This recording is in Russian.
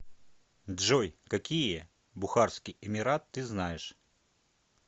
джой какие бухарский эмират ты знаешь